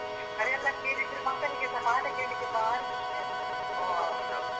ಅದೆಲ್ಲಾ ಕೇಳಿದ್ರೆ ಮಕ್ಕಳಿಗ್ಸ ಪಾಠ ಕೇಳಿಕ್ಕೆ ಬಾರಿ ಖುಷಿ ಆಗ್ತದೆ .